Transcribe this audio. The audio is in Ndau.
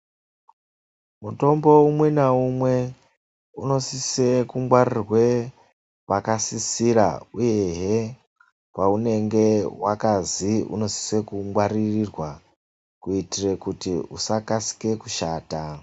Mutombo umwe naumwe, unosise kungwarirwe pakasisira, uyehe peunenge wakazi unosise kungwaririrwa, kuitira kuti usakasike kushata.